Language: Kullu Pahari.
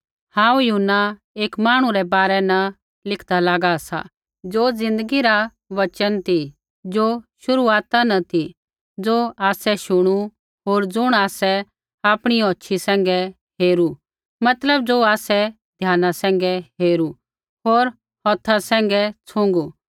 हांऊँ यूहन्ना एक मांहणु रै बारै न लिखदा लागा सी ज़ो ज़िन्दगी रा वचना ती ज़ो शुरुआता न ती ज़ो आसै शुणु होर ज़ुण आसै आपणी औछ़ी सैंघै हेरू मतलब ज़ो आसै ध्याना सैंघै हेरू होर हौथा सैंघै छुँगु